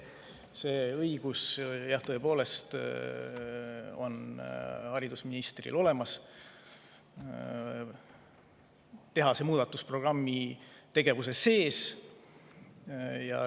See õigus, jah, tõepoolest haridusministril on olemas, teha see muudatus programmi tegevuse sees.